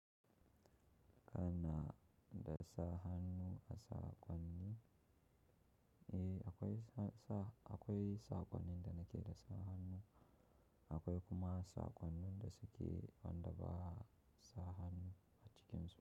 Kana da sa hannu a sakwanni. Akwai sakwannin da nake da sa hannu. Akwai kuma sakwannin da suke wanda ba'a sa hannu a cikin su.